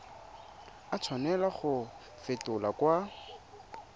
a tshwanela go fetolwa kwa